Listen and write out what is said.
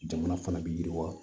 Jamana fana bɛ yiriwa